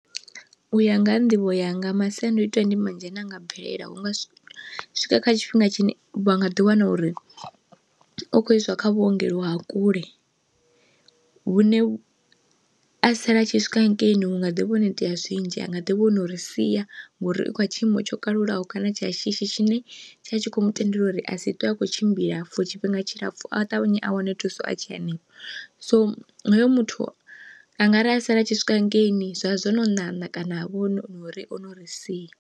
U ya nga ha nḓivho yanga masiandoitwa ndi manzhi ane anga bvelela hunga swika kha tshifhinga tshine vha nga ḓi wana uri u khou iswa kha vhuongelo ha kule, vhune vhu a sala a tshi swika hangeini u nga ḓi vha hone itea zwinzhi anga ḓivha ono ri sia ngori i kha tshiimo tsho kalulaho kana tsha shishi tshine tsha tshi kho mu tendelwa uri a si ṱwe akho tshimbila for tshifhinga tshilapfu a ṱavhanye a wane thuso a tshe hanefho. So hoyo muthu a ngari a sala a tshi swika hangeini zwa zwo no ṋaṋa kana ha vho nori ono ri sia.